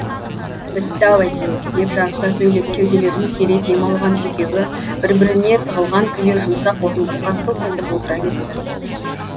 бітті ау әйтеуір деп жарыса сөйлеп кеуделерін кере дем алған екеуі бір біріне тығылған күйі жұмсақ орындыққа сылқ етіп отыра кетті